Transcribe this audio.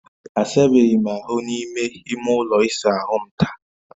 Asabeghị m ahụ n'ime ime ụlọ ịsa ahu m taa